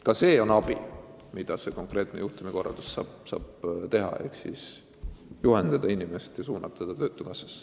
Ka see on abi, mida konkreetne juhtumikorraldus saab anda: saab noort inimest juhendada ja suunata ta töötukassasse.